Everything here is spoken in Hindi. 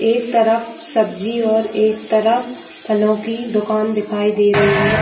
एक तरफ सब्जी और एक तरफ फलों की दुकान दिखाई दे रही है ।